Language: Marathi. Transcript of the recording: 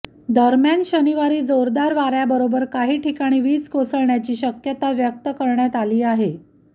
दरम्यान शनिवारी जोरदार वाऱ्याबरोबर काही ठिकाणी विज कोसळण्याची शक्यता व्यक्त करण्यात आली आहे